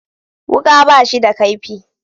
Wuka ba shi da kaifi